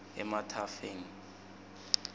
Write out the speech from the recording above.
emathafeng